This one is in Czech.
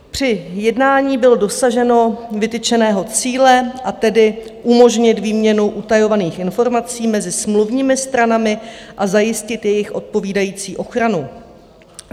Při jednání bylo dosaženo vytyčeného cíle, a tedy umožnit výměnu utajovaných informací mezi smluvními stranami a zajistit jejich odpovídající ochranu.